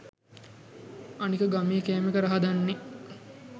අනික ගමේ කෑමක රහ දන්නෙ